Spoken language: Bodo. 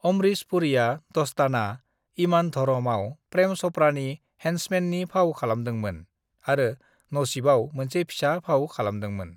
"अमरीश पुरीआ 'दस्ताना', 'इमान धरम' आव प्रेम चपड़ानि हेन्समेननि फाव खालामदोंमो, आरो 'नसीब' आव मोनसे फिसा फाव खालामदोंमोन।"